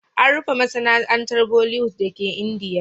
An rufe masana'antar Bollywood dake Indiya.